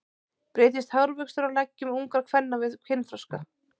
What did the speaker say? Breytist hárvöxtur á leggjum ungra kvenna við kynþroska?